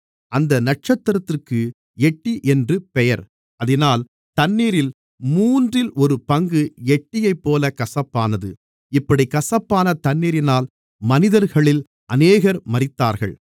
அந்த நட்சத்திரத்திற்கு எட்டி என்று பெயர் அதினால் தண்ணீரில் மூன்றில் ஒரு பங்கு எட்டியைப்போலக் கசப்பானது இப்படிக் கசப்பான தண்ணீரினால் மனிதர்களில் அநேகர் மரித்தார்கள்